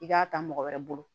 I k'a ta mɔgɔ wɛrɛ bolo